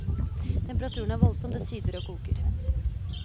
Temperaturen er voldsom, det syder og koker.